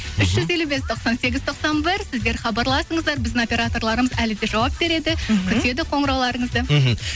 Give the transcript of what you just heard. үш жүз елу бес тоқсан сегіз тоқсан бір сіздер хабарласыңыздар біздің операторларымыз әлі де жауап береді мхм күтеді қоңырауларыңызды мхм